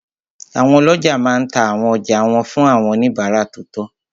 Àwọn ọlọ́jà máa n ta àwọn ọjà wọn fún àwọn oníbàárà tó tọ́